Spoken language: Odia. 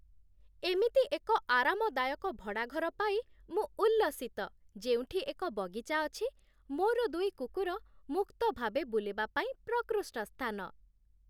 ଏମିତି ଏକ ଆରାମଦାୟକ ଭଡ଼ା ଘର ପାଇ ମୁଁ ଉଲ୍ଲସିତ, ଯେଉଁଠି ଏକ ବଗିଚା ଅଛି, ମୋର ଦୁଇ କୁକୁର ମୁକ୍ତ ଭାବେ ବୁଲିବା ପାଇଁ ପ୍ରକୃଷ୍ଟ ସ୍ଥାନ।